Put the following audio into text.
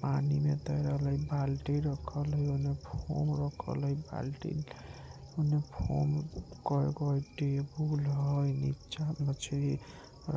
पानी में तैरे वाला एक बाल्टी रखल हेय ऐने फोन रखल हेय बाल्टी उने फोन टेबुल हेय नीचा मछली